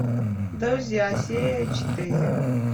друзья серия четыре